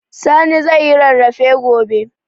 Sani zai yi rarrafe gobe